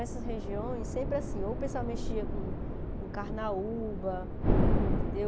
Então, essas regiões, sempre assim, ou o pessoal mexia com com carnaúba, entendeu?